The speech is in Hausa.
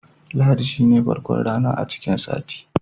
Lahadi shine farkon rana a cikin sati.